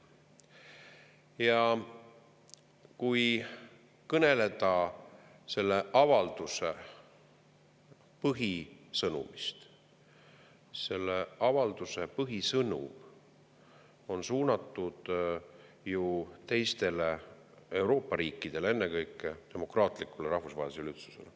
Ja kui kõneleda selle avalduse põhisõnumist, siis selle avalduse põhisõnum on suunatud teistele Euroopa riikidele, ennekõike demokraatlikule rahvusvahelisele üldsusele.